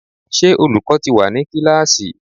Ṣé olùkọ́ ti wà ní kíláàsì?